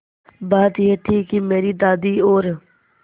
बात यह थी कि मेरी दादी और